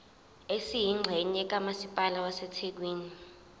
esiyingxenye kamasipala wasethekwini